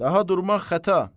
Daha durmaq xəta.